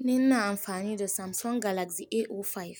Ni na amfani da Samsung Galaxy A05